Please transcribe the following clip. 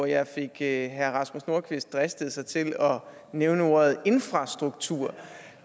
jeg fik herre rasmus nordqvist driste sig til at nævne ordet infrastruktur